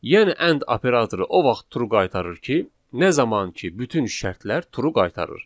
Yəni and operatoru o vaxt true qaytarır ki, nə zaman ki bütün şərtlər true qaytarır.